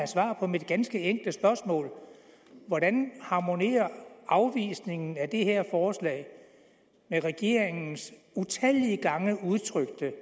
svar på mit ganske enkle spørgsmål hvordan harmonerer afvisningen af det her forslag med regeringens utallige gange udtrykte